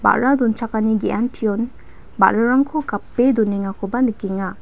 ba·ra donchakani ge·antion ba·rarangko gape donengakoba nikenga.